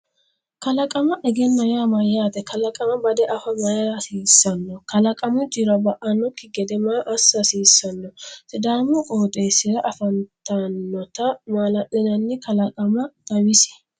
Kalaqama egenna yaa mayyaate? Kalaqama bade afa mayra hasiissanno? Kalaqamu jiro ba’annokki gede maa assa hasiissanno? Sidaamu qooxeessira afantannota maala’linanni kalaqama xawisi.